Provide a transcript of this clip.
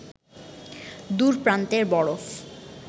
দূর প্রান্তের বরফ